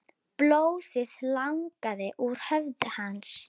Blóðið lagaði úr höfði hans.